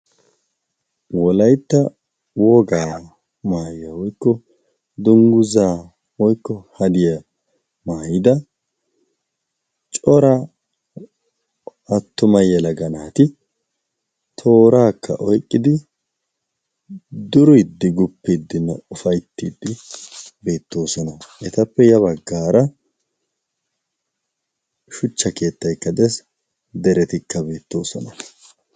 wolaitta wogaa maayuwa woikko dungguzaa woykko hadiyaa maayida cora attumayyala ga naati tooraakka oiqqidi duriddi guppiiddi n ufaittiiddi beettoosona etappe ya baggaara shuchcha keettaikkade deretikka beettoosona